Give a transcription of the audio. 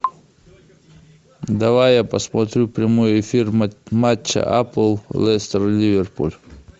давай я посмотрю прямой эфир матча апл лестер ливерпуль